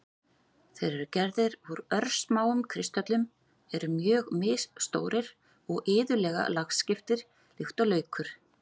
Þeir eru gerðir úr örsmáum kristöllum, eru mjög misstórir og iðulega lagskiptir líkt og laukur.